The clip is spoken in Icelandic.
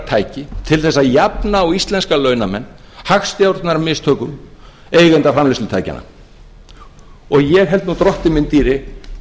útjöfnunartæki til þess að jafna á íslenska launamenn hagstjórnarmistökum eigenda framleiðslutækjanna og ég held nú drottinn minn dýri